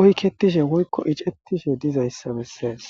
oyketishe woykko icettishe dizayssa bessees.